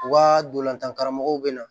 U ka dolantan karamɔgɔw be na